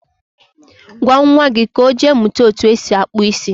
gwa nwa gị ka ọ jee mụta etu esi akpụ isi